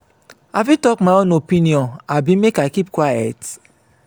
i fit talk my own opinion abi make i keep quiet?